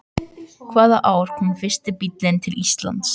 Hvaða ár kom fyrsti bíllinn til Íslands?